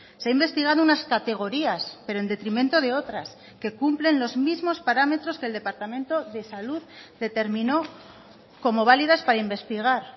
se ha investigado unas categorías pero en detrimento de otras que cumplen los mismos parámetros que el departamento de salud determinó como válidas para investigar